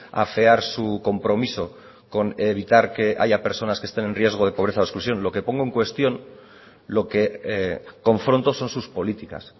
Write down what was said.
a afear su compromiso con evitar que haya personas que estén en riesgo de pobreza exclusión lo que pongo en cuestión lo que confronto son sus políticas